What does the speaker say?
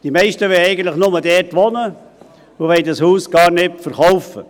Die meisten wollen eigentlich nur dort wohnen und wollen dieses Haus gar nicht verkaufen.